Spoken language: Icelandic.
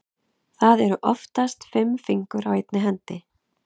Það eru oftast fimm fingur á einni hendi.